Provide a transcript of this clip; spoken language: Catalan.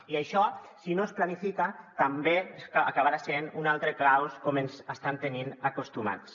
i això si no es planifica també acabarà sent un altre caos com ens hi estan tenint acostumats